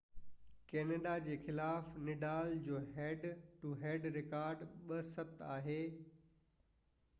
Canada جي خلاف Nadal جو هيڊ ٽو هيڊ رڪارڊ 7–2 آهي